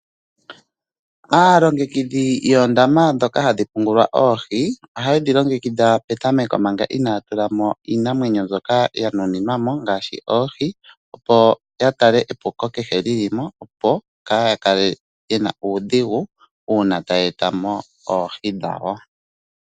Aalongekidha yoondama ndoka haye dhi pungula oohi ohaye dhi longekidha manga inaaya tula mo omeya niinima mbyoka ya nuninwa mo ngaashi oohi opo ya tale epuko kehe ndoka li li mo opo kaaya kale yena uudhigu uuna taya etamo oohi dhawo